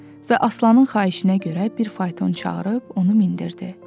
Və Aslanın xahişinə görə bir fayton çağırıb onu mindirdi.